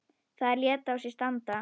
Það lét á sér standa.